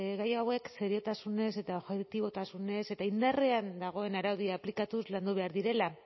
gai hauek seriotasunez eta objektibotasunez eta indarrean dagoen araudia aplikatuz landu behar direla